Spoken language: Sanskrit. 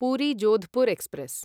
पुरी जोधपुर् एक्स्प्रेस्